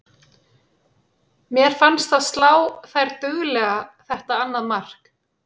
Mér fannst það slá þær duglega þetta annað mark.